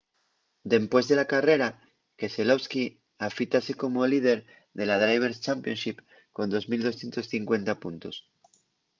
dempués de la carrera keselowski afítase como líder de la driver's championship con 2 250 puntos